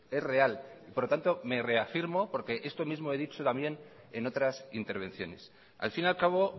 es real y por lo tanto me reafirmo porque esto mismo he dicho también en otras intervenciones al fin y al cabo